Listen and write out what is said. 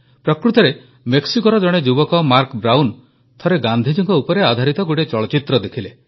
ପ୍ରକୃତରେ ମେକ୍ସିକୋର ଜଣେ ଯୁବକ ମାର୍କ ବ୍ରାଉନ୍ ଥରେ ଗାନ୍ଧୀଜୀଙ୍କ ଉପରେ ଆଧାରିତ ଗୋଟିଏ ଚଳଚ୍ଚିତ୍ର ଦେଖିଲେ